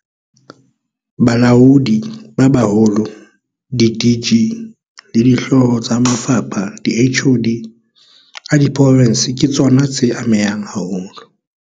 Balaodi ba Baholo di-DG le dihlooho tsa mafapha di-HoD a diprofense ke tsona tseya amehang haholo.